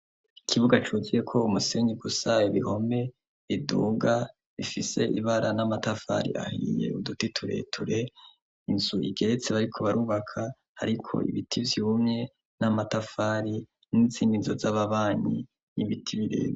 Ikibuga cugiye ko umusenyi gusa ibihome iduga bifise ibara n'amatafari ahiye udutitureture inzu igeretsi bariko barubaka ariko ibiti byumye n'amatafari n'insininzo z'ababanyi n'ibiti birera.